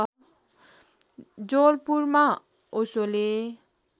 जवलपुरमा ओशोले